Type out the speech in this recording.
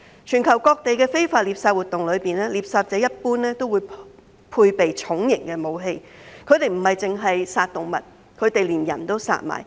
全球各地的非法獵殺活動中，獵殺者一般都會配備重型武器，他們不只殺動物，他們連人都殺。